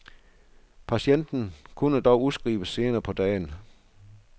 Patienten kunne dog udskrives senere på dagen.